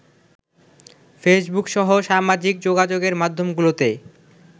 ফেসবুকসহ সামাজিক যোগাযোগের মাধ্যমগুলোতে